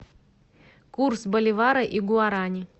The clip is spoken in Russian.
курс боливара и гуарани